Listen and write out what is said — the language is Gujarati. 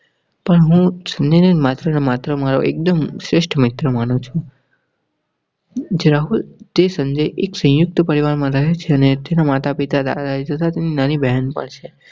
પણ હું સંજય ને માત્ર ને માત્ર મારો એક્દુમ સ્રેઠ મિત્ર માનું છુ તે એક સંયુક્ત પરિવારમાં રહે છે અને તેના માતાપિતા દાદાજી નાની બહેન પણ છે.